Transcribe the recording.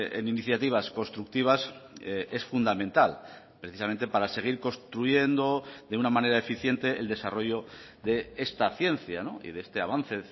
en iniciativas constructivas es fundamental precisamente para seguir construyendo de una manera eficiente el desarrollo de esta ciencia y de este avance